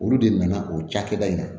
Olu de nana o cakɛda in na